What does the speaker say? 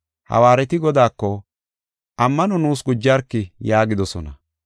Hawaareti Godaako, “Ammano nuus gujarki” yaagidosona.